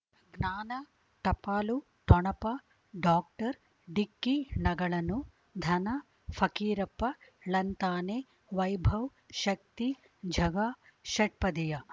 ಜ್ಞಾನ ಟಪಾಲು ಠೊಣಪ ಡಾಕ್ಟರ್ ಢಿಕ್ಕಿ ಣಗಳನು ಧನ ಫಕೀರಪ್ಪ ಳಂತಾನೆ ವೈಭವ್ ಶಕ್ತಿ ಝಗಾ ಷಟ್ಪದಿಯ